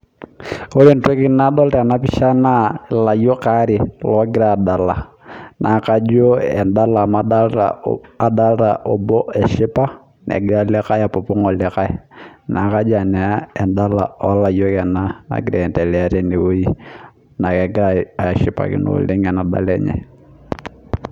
Ore entoki nadol tena pisha naa ilayiok waare ogira adala naa kajo edala adolita obo eshipa negira olikai apopong' olikae. Naa kajo edala oo layiok ena angira ae endelea teneweji naa kegira ashipakino oleng' ena dala enye.